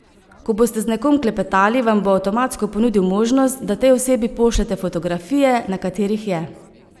Ko boste z nekom klepetali, vam bo avtomatsko ponudil možnost, da tej osebi pošljete fotografije, na katerih je.